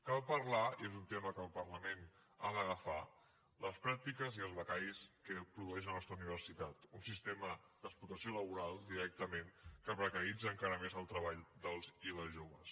cal parlar i és un tema que el parlament ha d’agafar de les pràctiques i els becaris que produeix la nostra universitat un sistema d’explotació laboral directament que precaritza encara més el treball dels i les joves